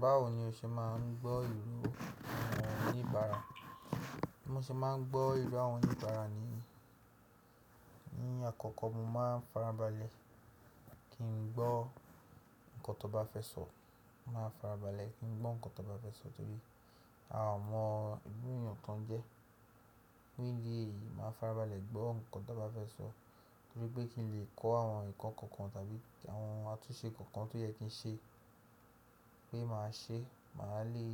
Báwo ni o ṣe máa ń gbọ́ ìró àwọn oníbàárà? Mo ṣe máa ń gbọ́ ìró àwọn oníbàárà ní, ní àkọ́kọ́ mo máa ń farabalẹ̀ kí n gbọ́ nǹkan tó bá fẹ́ sọ. Máa farabalẹ̀ kí n gbọ́ nǹkan to bá fẹ́ sọ torí a ò mọ ìrú eyàn to jẹ́. Fun idi éyìí, màá farabalẹ̀ gbọ́ nkan tó bá fẹ́ sọ, torí pé kí n lè kọ́ àwọn eko kankan tàbí àwọn àtúnṣe kankan tó yẹ kí n ṣe, pé màá ṣe, màá lè